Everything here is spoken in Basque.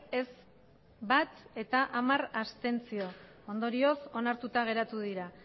ez bat abstentzioak hamar ondorioz onartuta geratu dira